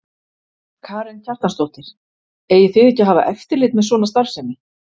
Karen Kjartansdóttir: Eigið þið ekki að hafa eftirlit með svona starfsemi?